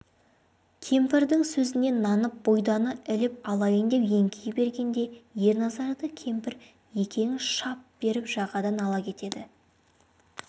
кемпірдің сөзіне нанып бұйданы іліп алайын деп еңкейе бергенде ерназарды кемпірекең шап беріп жағадан ала кетеді